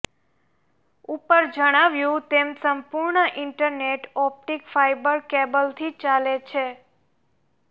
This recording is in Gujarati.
ઉપર જણાવ્યું તેમ સંપૂર્ણ ઇન્ટરનેટ ઓપ્ટિક ફાયબર કેબલથી ચાલે છે